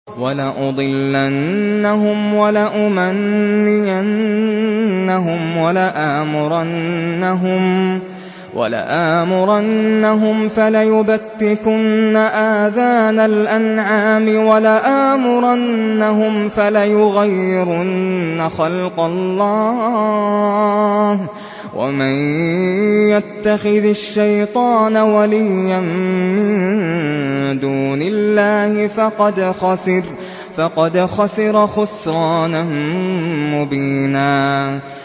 وَلَأُضِلَّنَّهُمْ وَلَأُمَنِّيَنَّهُمْ وَلَآمُرَنَّهُمْ فَلَيُبَتِّكُنَّ آذَانَ الْأَنْعَامِ وَلَآمُرَنَّهُمْ فَلَيُغَيِّرُنَّ خَلْقَ اللَّهِ ۚ وَمَن يَتَّخِذِ الشَّيْطَانَ وَلِيًّا مِّن دُونِ اللَّهِ فَقَدْ خَسِرَ خُسْرَانًا مُّبِينًا